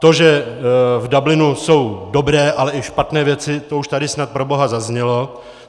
To, že v Dublinu jsou dobré, ale i špatné věci, to už tady snad proboha zaznělo.